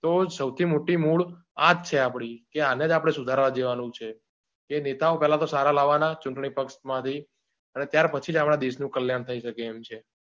તો સૌથી મોટી મૂળ આજ છે આપળી કે આને જ આપણે સુધારા દેવાનું છે કે નેતાઓ પેલા તો સારાવાના ચૂંટણી પક્ષમાંથી અને ત્યાર પછી જ આપણા દેશનું કલ્યાણ થઈ શકે એમ છે.